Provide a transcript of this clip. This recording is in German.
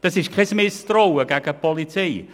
Das ist kein Misstrauen gegenüber der Polizei.